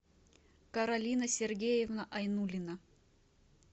каролина сергеевна айнулина